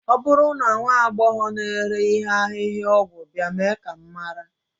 ọ bụrụ na nwa agbọghọ na-ere ihe ahịhịaọgwụ bịa, mee ka m mara